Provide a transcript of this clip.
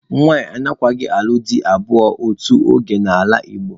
Nwanyị anaghịkwa alụ dị abụọ otu oge n'ala Igbo.